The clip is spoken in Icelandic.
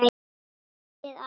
Kælið aðeins.